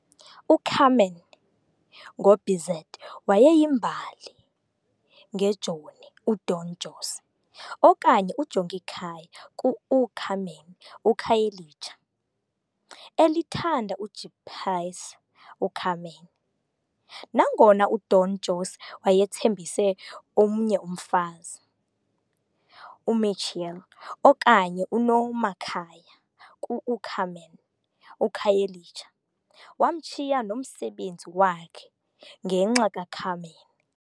U-"Carmen" ngoBizet wayeyimbali ngejoni, uDon José, okanye uJongikhaya ku-U-Carmen uKhayelitsha, elithanda ujipsy, uCarmen. Nangona uDon José wayethembise omnye umfazi, uMicaëla, okanye uNomakhaya kuU-Carmen uKhayelitsha, wamshiya nomsebenzi wakhe ngenxa kaCarmen.